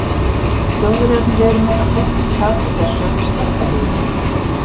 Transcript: Þjóðverjarnir eru með það gott tak á þessu að þeir sleppa því ekki.